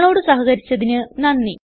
ഞങ്ങളോട് സഹകരിച്ചതിന് നന്ദി